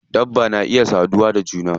Dabba na iya saduwa da juna.